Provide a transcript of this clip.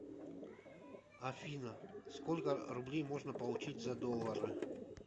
афина сколько рублей можно получить за доллары